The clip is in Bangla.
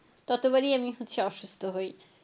ততোবারই আমি হচ্ছে অসুস্থ হই।